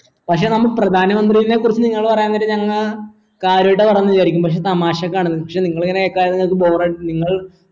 പക്ഷെ നമ്മൾ പ്രധാന മന്ത്രിനെ കുറിച്ച് നിങ്ങൾ പറയാൻ നേരം ഞങ്ങ കാര്യായിട്ട പറയുന്നേ വിചാരിക്കും പക്ഷെ തമാശക്കാണ് പക്ഷെ നിങ്ങൾ ഇങ്ങനെ bore അടിച്ചു നിങ്ങൾ